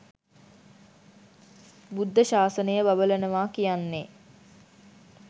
බුද්ධ ශාසනය බබලනවා කියන්නේ